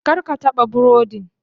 Kar ka taɓa burodin.